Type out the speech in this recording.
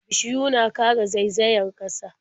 Bishiyu na kare zaizayar ƙasa.